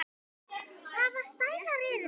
Hvaða stælar eru þetta?